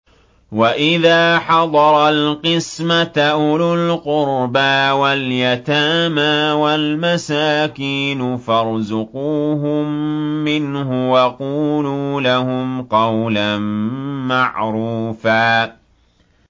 وَإِذَا حَضَرَ الْقِسْمَةَ أُولُو الْقُرْبَىٰ وَالْيَتَامَىٰ وَالْمَسَاكِينُ فَارْزُقُوهُم مِّنْهُ وَقُولُوا لَهُمْ قَوْلًا مَّعْرُوفًا